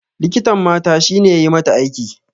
Likitan mata shine yayi mata aiki